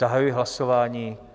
Zahajuji hlasování.